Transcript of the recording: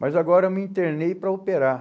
Mas agora eu me internei para operar.